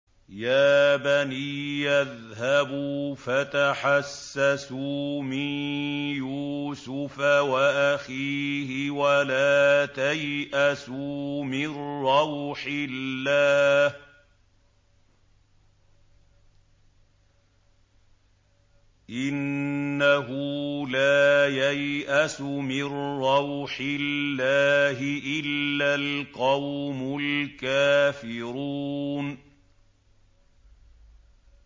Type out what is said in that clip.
يَا بَنِيَّ اذْهَبُوا فَتَحَسَّسُوا مِن يُوسُفَ وَأَخِيهِ وَلَا تَيْأَسُوا مِن رَّوْحِ اللَّهِ ۖ إِنَّهُ لَا يَيْأَسُ مِن رَّوْحِ اللَّهِ إِلَّا الْقَوْمُ الْكَافِرُونَ